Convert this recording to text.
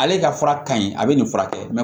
Ale ka fura ka ɲi a bɛ nin furakɛ